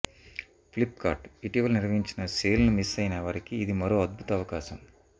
Flipkart ఇటీవల నిర్వహించిన సేల్ను మిస్ అయిన వారికి ఇది మరో అద్భుత అవకాశం